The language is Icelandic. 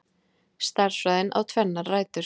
Stærðfræðin á tvennar rætur.